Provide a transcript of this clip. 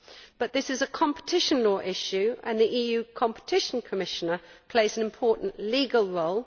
But this is a competition law issue, and the EU Competition Commissioner plays an important legal role.